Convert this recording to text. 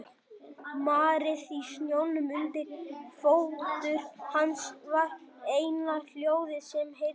Marrið í snjónum undir fótum hans var eina hljóðið sem heyrðist.